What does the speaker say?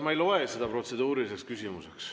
Ma ei loe seda protseduuriliseks küsimuseks.